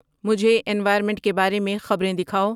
مجھے انوائرمینٹ کے بارے میں خبریں دکھاؤ